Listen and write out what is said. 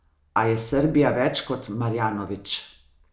A je Srbija več kot Marjanović.